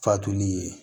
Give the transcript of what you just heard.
Fatuli ye